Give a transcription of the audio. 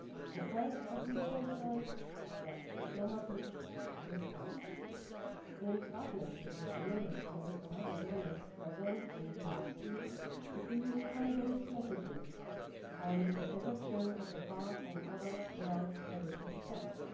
The first of these concerns the diplomatic response. In partnership with the Member States and other donors present in the DRC, the EU conveys messages on the protection of the park and other World Heritage Sites.